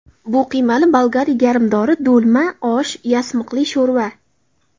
Bu qiymali bolgari garmdori, do‘lma, osh, yasmiqli sho‘rva.